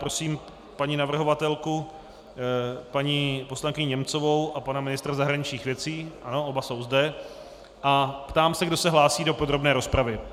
Prosím paní navrhovatelku, paní poslankyni Němcovou, a pana ministra zahraničních věcí, ano, oba jsou zde, a ptám se, kdo se hlásí do podrobné rozpravy.